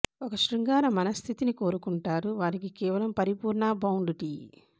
ఒక శృంగార మనస్థితిని కోరుకుంటారు వారికి కేవలం పరిపూర్ణ బౌండ్ టీ